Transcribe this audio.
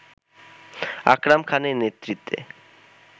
আকরাম খানের নেতৃত্বে